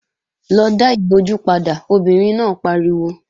Lọ dá ìbojú padà, obìnrin náà pariwo!